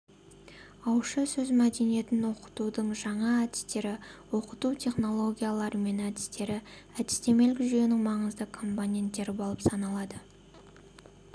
ауызша сөз мәдениетін оқытудың жаңа әдістері оқыту технологиялары мен әдістері әдістемелік жүйенің маңызды компоненттері болып саналады